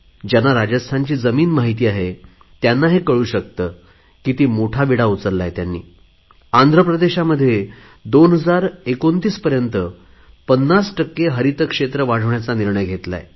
ज्यांना राजस्थानची भूमी माहीत आहे त्यांना हे कळू शकते की किती मोठा विडा उचलला आहे त्यांनी आंध्रप्रदेशानेही 2029 पर्यंत 50 टक्के हरितक्षेत्र वाढवण्याचा निर्णय घेतला आहे